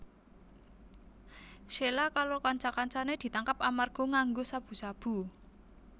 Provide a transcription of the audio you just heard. Sheila karo kanca kancané ditangkap amarga nganggo sabu sabu